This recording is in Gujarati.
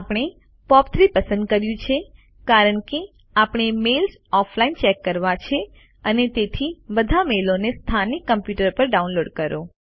આપણે પોપ3 પસંદ કર્યું છે કારણ કે આપણે મેઈલ ઓફલાઈન ચેક કરવા છે અને તેથી બધા મેઈલોને સ્થાનિક કમ્પ્યુટર પર ડાઉનલોડ કરો